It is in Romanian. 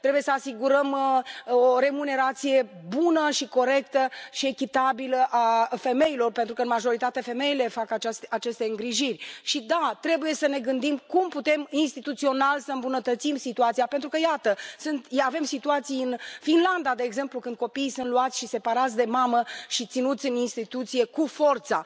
Trebuie să asigurăm o remunerație bună și corectă și echitabilă a femeilor, pentru că, în majoritate, femeile fac aceste îngrijiri și, da, trebuie să ne gândim cum putem instituțional să îmbunătățim situația, pentru că, iată, avem situații în Finlanda, de exemplu când copiii sunt luați și separați de mamă și ținuți în instituție cu forța.